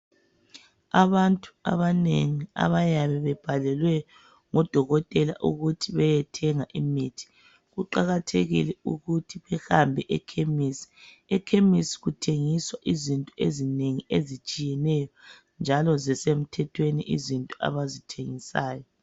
Abantu abanengi abayabe bebhalelwe ngodokotela ukuthi beyethenga imithi, kuqakathekile ukuthi behambe ekhemesi. Ekhemesi kuthengiswa izinto ezinengi ezitshiyeneyo njalo zisemthethweni izinto abazithengisayo